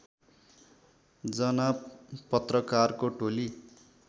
जना पत्रकारको टोली